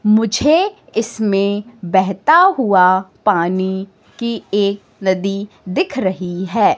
मुझे इसमें बेहता हुआ पानी की एक नदी दिख रही है।